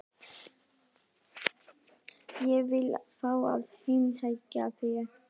Ég vil fá að heimsækja þig.